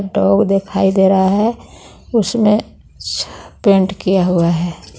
Dog दिखाई दे रहा है उसने स पेंट किया हुआ है.